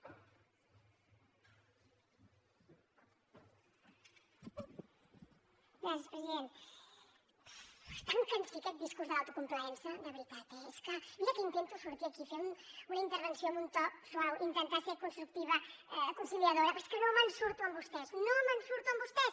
buf és tan cansí aquest discurs de l’autocomplaença de veritat eh és que mira que intento sortir aquí fer una intervenció amb un to suau intentar ser constructiva conciliadora però és que no me’n surto amb vostès no me’n surto amb vostès